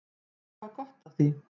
Þau hafa gott af því.